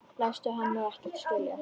Læst hann nú ekkert skilja?